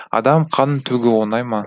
адам қанын төгу оңай ма